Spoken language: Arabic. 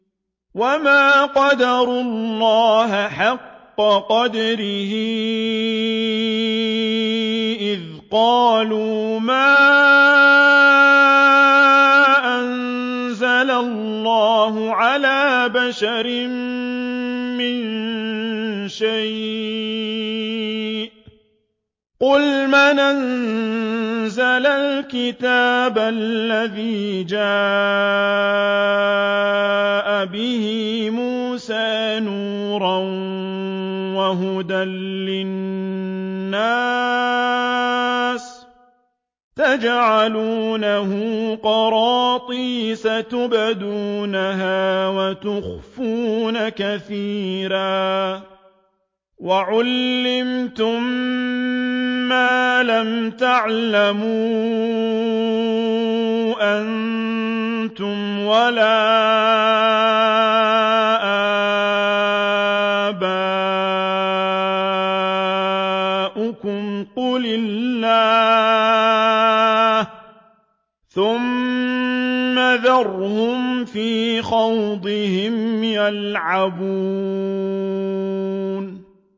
وَمَا قَدَرُوا اللَّهَ حَقَّ قَدْرِهِ إِذْ قَالُوا مَا أَنزَلَ اللَّهُ عَلَىٰ بَشَرٍ مِّن شَيْءٍ ۗ قُلْ مَنْ أَنزَلَ الْكِتَابَ الَّذِي جَاءَ بِهِ مُوسَىٰ نُورًا وَهُدًى لِّلنَّاسِ ۖ تَجْعَلُونَهُ قَرَاطِيسَ تُبْدُونَهَا وَتُخْفُونَ كَثِيرًا ۖ وَعُلِّمْتُم مَّا لَمْ تَعْلَمُوا أَنتُمْ وَلَا آبَاؤُكُمْ ۖ قُلِ اللَّهُ ۖ ثُمَّ ذَرْهُمْ فِي خَوْضِهِمْ يَلْعَبُونَ